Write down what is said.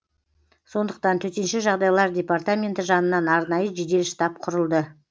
сондықтан төтенше жағдайлар департаменті жанынан арнайы жедел штаб құрылды